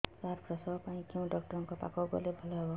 ସାର ପ୍ରସବ ପାଇଁ କେଉଁ ଡକ୍ଟର ଙ୍କ ପାଖକୁ ଗଲେ ଭଲ ହେବ